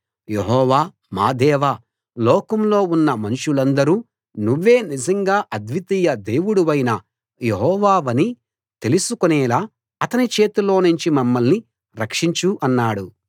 యెహోవా మా దేవా లోకంలో ఉన్న మనుషులందరూ నువ్వే నిజంగా అద్వితీయ దేవుడవైన యెహోవావని తెలుసుకునేలా అతని చేతిలోనుంచి మమ్మల్ని రక్షించు అన్నాడు